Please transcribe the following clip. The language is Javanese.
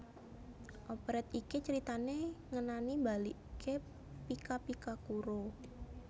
Operet iki critané ngenani mbaliké Pika Pika Kuro